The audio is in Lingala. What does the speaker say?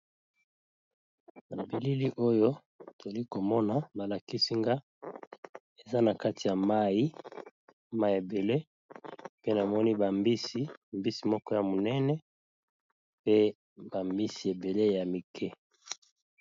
Na bilili oyo, toza komona ba lakisi nga eza na kati ya mai. Mai ebele, pe namoni bambisi ; mbisi moko ya monene, pe bambisi ebele ya mike.